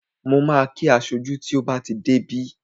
Mo ma kí aṣojú tí ó bá ti dé bí